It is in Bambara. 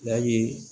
Yali